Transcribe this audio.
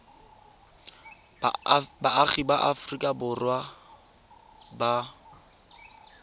baagi ba aforika borwa ba